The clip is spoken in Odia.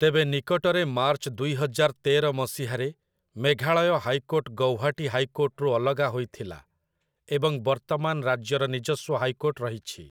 ତେବେ ନିକଟରେ ମାର୍ଚ୍ଚ ଦୁଇହଜାର ତେର ମସିହାରେ ମେଘାଳୟ ହାଇକୋର୍ଟ ଗୌହାଟି ହାଇକୋର୍ଟରୁ ଅଲଗା ହୋଇଥିଲା ଏବଂ ବର୍ତ୍ତମାନ ରାଜ୍ୟର ନିଜସ୍ୱ ହାଇକୋର୍ଟ ରହିଛି ।